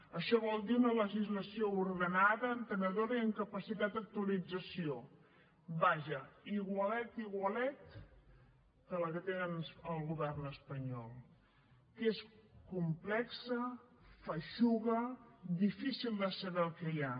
això vol dir una legislació ordenada entenedora i amb capacitat d’actualització vaja igualet igualet que la que tenen al govern espanyol que és complexa feixuga difícil de saber el que hi ha